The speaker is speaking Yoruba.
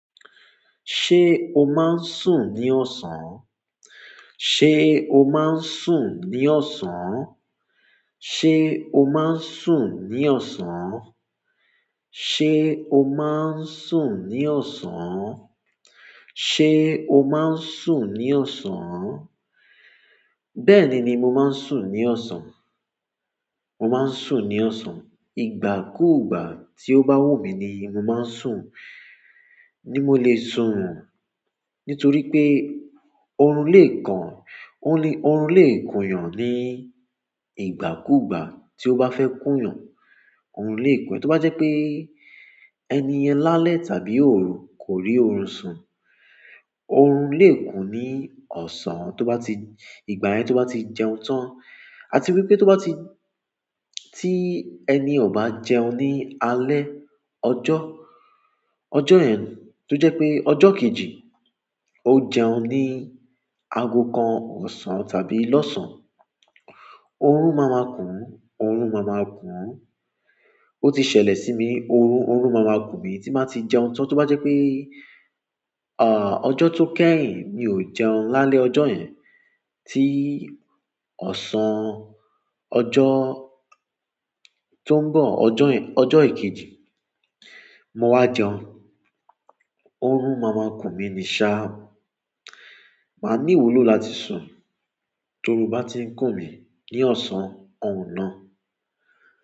Ṣé o máa ń sùn ní ọ̀sán? Ṣé o máa ń sùn ní ọ̀sán? Ṣé o máa ń sùn ní ọ̀sán? Ṣé o máa ń sùn ní ọ̀sán? Ṣé o máa ń sùn ní ọ̀sán? Bẹ́ẹ̀ ni, mi mo má ń sùn ní ọ̀sán. Mo máa ń sùn ní ọ̀sán. Ìgbà kúùgbà tí ó bá wù mí ni mo máa ń sùn. Ni mo le sun nítorí wípé orun le kun orun le kunyan ni ìgbà ku gba to ba fe kun yan oorun lè kù ẹ, tó bá jẹ́ pé ẹniyan lálẹ́ tàbí òru, kò rí oorun sùn. Oorun lè kù ní ọ̀sán tó bá ti-- ìgbà yẹn tó bá ti jẹun tán. A ti wípé tó bá ti, tí ẹni ò bá jẹun ní alẹ́ ọjọ́, ọjọ́ yẹn tó jẹ́ pé ọjọ́ kejì, ó jẹun ní aago kan ọ̀sán tàbí lọ́sàn-án. Oorun má máa kùn. Oorun má máa kùn. Ó ti ṣẹlẹ̀ sí mi. Oorun, oorun má máa kù mí tí má tí jẹun tán tó bá jẹ́ pé, à, ọjọ́ tó kẹ́yìn mi ò jẹun lálẹ́ ọjọ́ yẹn tí ọ̀sán ọjọ́ tó ń bọ̀, ọjọ́ yẹn, ọjọ́ ikejì, mo wá jẹun. Oorun má máa kù mí ní ṣá. Màá ní ìwúlò láti sùn torun bá tí ń kù mí ní ọ̀sán, òun náà.